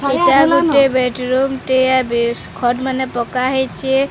ଏଇଟା ଗୋଟେ bed room ଟିଏ ‌ ବେସ ଖଟ୍ ମାନେ ପକାହେଇଚେ। ‌